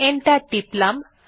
enter টিপলাম